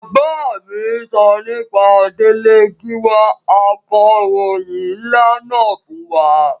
Bàbá mi sọ nípa Délé Gíwá akọ̀ròhìn nlá náà fún mi